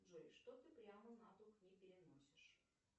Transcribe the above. джой что ты прямо на дух не переносишь